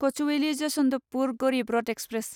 Kochuveli Yesvantpur Garib Rath express